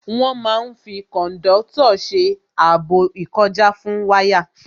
Wọ́n máa n fi kòndọ́tọ̀ ṣe ààbò ìkọjá fún wáyà